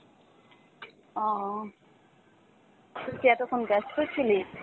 ও , তুই কি এতক্ষন ব্যস্ত ছিলিস?